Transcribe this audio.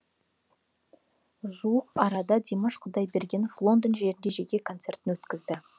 жуық арада димаш құдайбергенов лондон жерінде жеке концертін өткізді